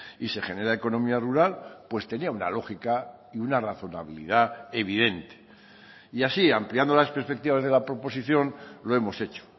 y se genera economía rural pues tenía una lógica y una razonabilidad evidente y así ampliando las perspectivas de la proposición lo hemos hecho